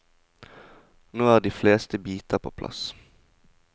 Nå er de fleste biter på plass.